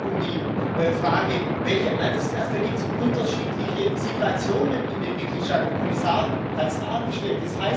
Es geht auch um die Frage welche Altersklasse? Da gibt es unterschiedliche Situationen in den Mitgliedstaaten der Kommissar hat es dargestellt.